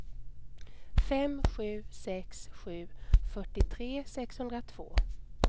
fem sju sex sju fyrtiotre sexhundratvå